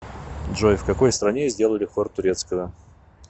джой в какой стране сделали хор турецкого